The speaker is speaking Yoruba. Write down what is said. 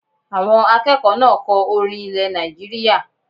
Àwọn akẹ́kọ̀ọ́ náà kọ orin ilẹ̀ Nàìjíríyà